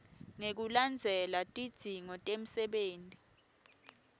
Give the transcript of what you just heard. ngekulandzela tidzingo temsebenti